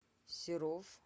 серов